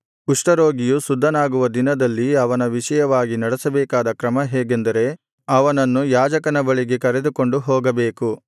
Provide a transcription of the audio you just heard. ಕುಷ್ಠರೋಗಿಯು ಶುದ್ಧನಾಗುವ ದಿನದಲ್ಲಿ ಅವನ ವಿಷಯವಾಗಿ ನಡೆಸಬೇಕಾದ ಕ್ರಮ ಹೇಗೆಂದರೆ ಅವನನ್ನು ಯಾಜಕನ ಬಳಿಗೆ ಕರೆದುಕೊಂಡು ಹೋಗಬೇಕು